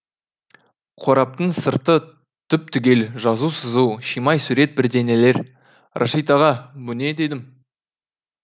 қораптың сырты түп түгел жазу сызу шимай сурет бірдеңелер рашид аға бұ не дедім